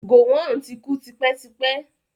Gọ̀wọn ti kú tipẹ́tipẹ́.